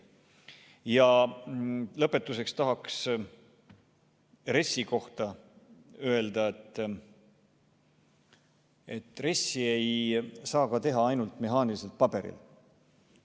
Lõpetuseks tahaks RES-i kohta öelda, et RES-i ei saa teha ainult mehaaniliselt paberil.